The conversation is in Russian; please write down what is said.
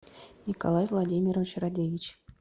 николай владимирович радевич